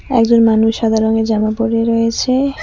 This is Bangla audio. একজন মানুষ সাদা রঙের জামা পড়ে রয়েছে।